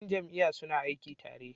Yan jam'iyya suna aiki tare.